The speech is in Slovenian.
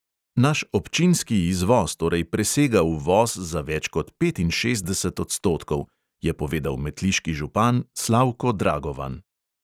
"Naš občinski izvoz torej presega uvoz za več kot petinšestdeset odstotkov," je povedal metliški župan slavko dragovan.